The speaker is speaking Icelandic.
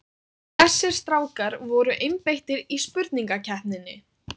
Þessir strákar voru einbeittir í spurningakeppninni!